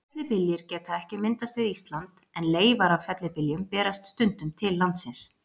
Fellibyljir geta ekki myndast við Ísland, en leifar af fellibyljum berast stundum til landsins.